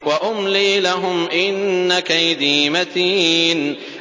وَأُمْلِي لَهُمْ ۚ إِنَّ كَيْدِي مَتِينٌ